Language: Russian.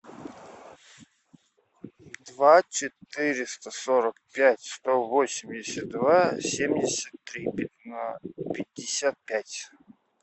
два четыреста сорок пять сто восемьдесят два семьдесят три пятьдесят пять